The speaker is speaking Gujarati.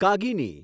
કાગીની